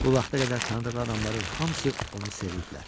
Bu vaxta qədər tanıdığı adamların hamısı onu seviblər.